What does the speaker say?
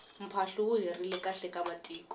mphahlu wu herile khale ka matiko